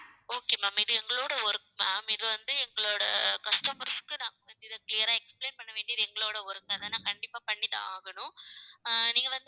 okay ma'am இது எங்களோட work ma'am இது வந்து எங்களோட customers க்கு நாங்க வந்து இதை clear ஆ explain பண்ண வேண்டியது எங்களோட work அதை நான் கண்டிப்பா பண்ணிதான் ஆகணும் ஆஹ் நீங்க வந்து